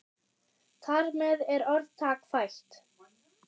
Þar með er orðtak fætt.